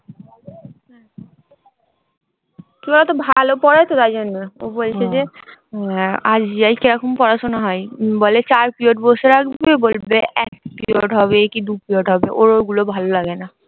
কি বলোতো ভালো পড়ায় তো? তাই জন্য। ও বলছে যে, আইজিয়ায় কি রকম পড়াশোনা হয়? বলে চার period বসে থাকবে বলবে এক period হবে কি? দু period হবে, ওর ওগুলো ভালো লাগে না।